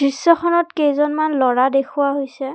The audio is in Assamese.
দৃশ্যখনত কেইজনমান ল'ৰা দেখুওৱা হৈছে।